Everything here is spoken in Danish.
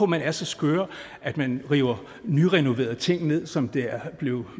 man er så skør at man river nyrenoverede ting ned som det er blevet